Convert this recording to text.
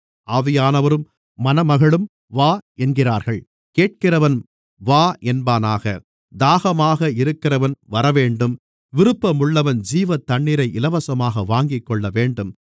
ஆவியானவரும் மணமகளும் வா என்கிறார்கள் கேட்கிறவனும் வா என்பானாக தாகமாக இருக்கிறவன் வரவேண்டும் விருப்பமுள்ளவன் ஜீவத்தண்ணீரை இலவசமாக வாங்கிக்கொள்ளவேண்டும்